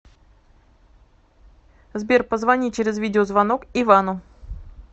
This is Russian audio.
сбер позвони через видеозвонок ивану